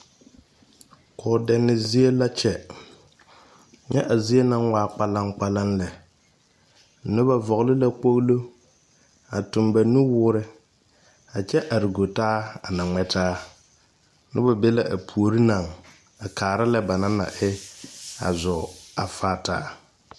kɔ dɛni zie la kyɛ. Nyɛ a zie na waa gbalangbalan lɛ. Noba vogle la kpolo a toŋ ba nu wuɔre a kyɛ are gu taa na ŋmɛ taa. Noba be la a poore na a kaara lɛ ba na naŋ e a zɔɔ a faa taa